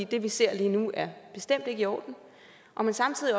det vi ser lige nu er bestemt ikke i orden og har samtidig